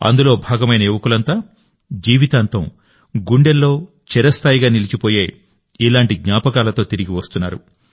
అందులో భాగమైన యువకులంతా జీవితాంతం గుండెల్లో చిరస్థాయిగా నిలిచిపోయే ఇలాంటి జ్ఞాపకాలతో తిరిగి వస్తున్నారు